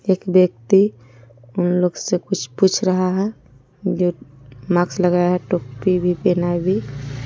एक व्यक्ति उन लोग स कुछ पूछ रहा है जो मास्क लगाया है टोपी भी पहना है भी।